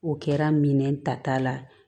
O kɛra minɛn tata la